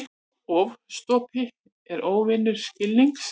Ofstopi er óvinur skilnings.